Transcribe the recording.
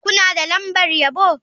Kuna da lambar yabo?